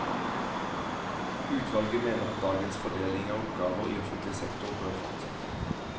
Utvalget mener at dagens fordeling av oppgaver i offentlig sektor bør fortsette.